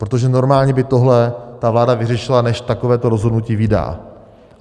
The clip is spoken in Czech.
Protože normálně by tohle ta vláda vyřešila, než takového rozhodnutí vydá.